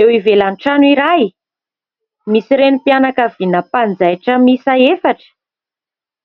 Eo ivelan’ny trano iray misy renim-pianakaviana mpanjaitra miisa efatra,